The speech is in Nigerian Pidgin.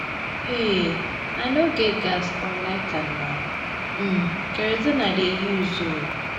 um I no get gas or lighter na um kerosene I dey use um